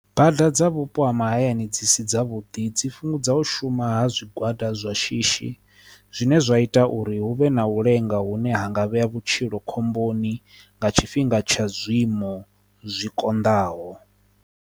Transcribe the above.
Bada dza vhupo ha mahayani dzi si dza vhuḓi dzi fhungudza u shuma ha zwigwada zwa shishi zwine zwa ita uri hu vhe na u lenga hune ha nga vhea vhutshilo khomboni nga tshifhinga tsha zwiimo zwi konḓaho.